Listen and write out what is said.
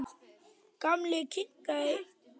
Gamli kinkaði kolli.